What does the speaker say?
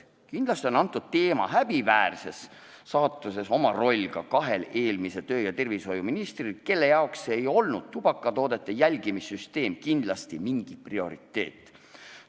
Kindlasti on selle teema häbiväärses saatuses oma roll ka kahel eelmisel tervise- ja tööministril, kellele ei olnud tubakatoodete jälgimise süsteem kindlasti mingi prioriteet.